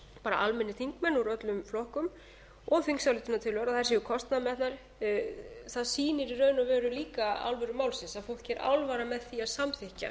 bara almennir þingmenn úr öllum flokkum og þingsályktunartillögur að þær séu kostnaðarmetnar það sýnir í raun og veru líka alvöru málsins að fólki sé alvara með því að samþykkja